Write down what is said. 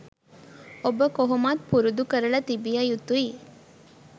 ඔබ කොහොමත් පුරුදු කරල තිබිය යුතුයි.